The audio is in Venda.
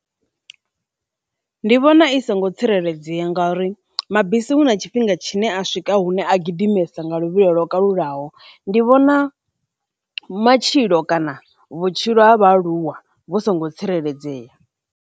Ndi vhona i songo tsireledzea ngauri mabisi hu na tshifhinga tshine a swika hune a gidimesa nga luvhilo lwo kalulaho, ndi vhona matshilo kana vhutshilo ha vhaaluwa vhu songo tsireledzea.